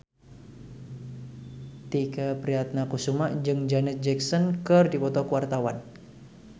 Tike Priatnakusuma jeung Janet Jackson keur dipoto ku wartawan